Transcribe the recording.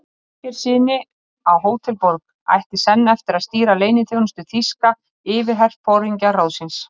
Ásgeirssyni á Hótel Borg, ætti senn eftir að stýra leyniþjónustu þýska yfirherforingjaráðsins.